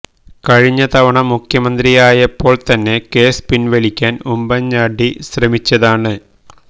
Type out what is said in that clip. കഴിഞ്ഞ തവണ മുഖ്യമന്ത്രിയായപ്പോൾത്തന്നെ കേസ് പിൻവലിക്കാൻ ഉമ്മൻ ചാണ്ടി ശ്രമിച്ചതാണ്